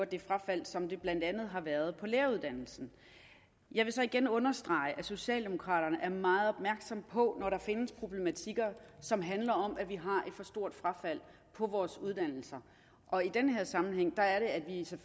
det frafald som der blandt andet har været på læreruddannelsen jeg vil igen understrege at socialdemokraterne er meget opmærksomme på at der findes problematikker som handler om at vi har et for stort frafald på vores uddannelser og i den her sammenhæng